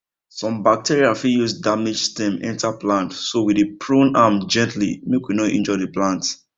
some bacteria fit use damaged stem enter plant so we dey prune am gently make we no injure the plant